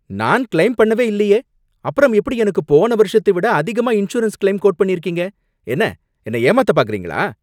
நான் கிளெய்ம் பண்ணவே இல்லையே, அப்புறம் எப்படி எனக்கு போன வருஷத்தை விட அதிகமா இன்சூரன்ஸ் கிளெய்ம் கோட் பண்ணியிருக்கீங்க? என்ன, என்னை ஏமாத்த பார்க்கிறீங்களா?